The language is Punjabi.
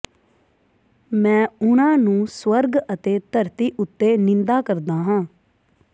ਮੈਂ ਉਹਨਾਂ ਨੂੰ ਸਵਰਗ ਅਤੇ ਧਰਤੀ ਉੱਤੇ ਨਿੰਦਾ ਕਰਦਾ ਹਾਂ